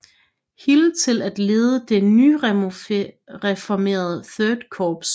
Hill til at lede det nyformerede Third Corps